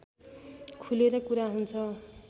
खुलेर कुरा हुन्छ